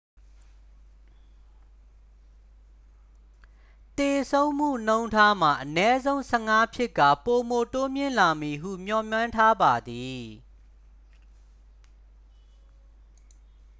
သေဆုံးမှုနှုန်းထားမှာ အနည်းဆုံး 15 ဖြစ်ကာ ပိုမိုတိုးမြင့်လာမည်ဟု မျှော်မှန်းထားပါသည်